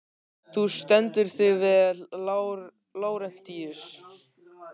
Þú stendur þig vel, Lárentíus!